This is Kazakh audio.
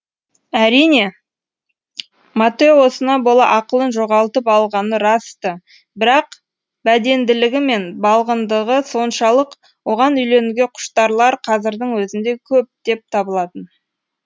әрине маттеосына бола ақылын жоғалтып алғаны рас ты бірақ бәденділігі мен балғындығы соншалық оған үйленуге құштарлар қазірдің өзінде көптеп табылатын